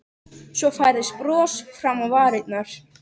Svo færðist bros fram á varirnar.